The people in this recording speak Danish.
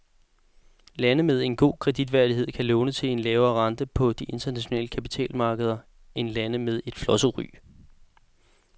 Lande med god kreditværdighed kan låne til en lavere rente på de internationale kapitalmarkeder end lande med flosset ry.